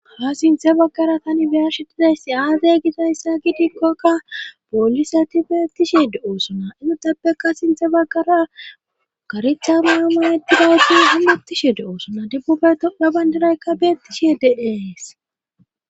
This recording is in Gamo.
Ha sinthe baggara tani biyarshetidaysi aazey gisayssa gidikkokka poolise ti beettishe do7oosona egutappeka sinthe baggara garecha maa ma didasi ammuttishe do'osona debbubetoga bandaraykka beettishi deees.